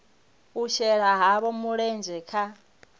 u shela havho mulenzhe kha